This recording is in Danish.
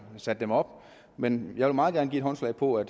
satte dem op men jeg vil meget gerne give håndslag på at